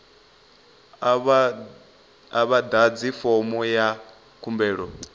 a vha ḓadzi fomo ya khumbelo